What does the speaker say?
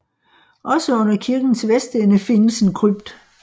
Også under kirkens vestende findes en krypt